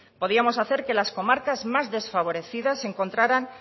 podíamos hacer que las comarcas más desfavorecidas encontraran